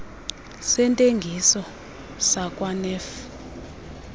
sentengiso sakwa nef